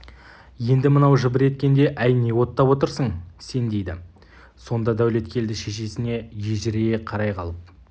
енді мынау жыбыр еткенде әй не оттап отырсың сен дейді сонда дәулеткелді шешесіне ежірейе қарай қалып